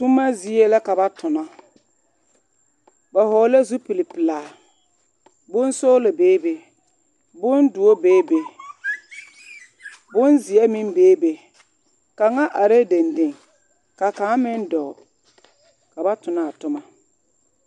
Toma zie la ka ba tona ba vɔgelɛɛ zupil pelaa bonsɔɔlɔnbee bondoɔ bee be bonzeɛ meŋ bee be kaŋa arɛɛ dendeŋ ka kaŋ meŋ dɔɔ ka ba tona toma